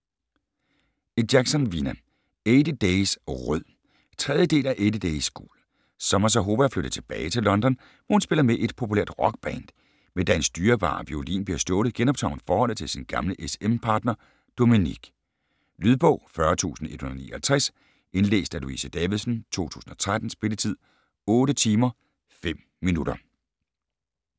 Jackson, Vina: Eighty days rød 3. del af Eighty days gul. Summer Zahova er flyttet tilbage til London, hvor hun spiller med i et populært rockband. Men da hendes dyrebare violin bliver stjålet, genoptager hun forholdet til sin gamle s/m partner Dominik. Lydbog 40159 Indlæst af Louise Davidsen, 2013. Spilletid: 8 timer, 5 minutter.